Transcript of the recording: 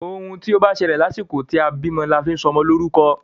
Òun tí o bá ṣẹlẹ̀ lásìkò tí a bímọ la fi sọ ọmọ lórúkọ.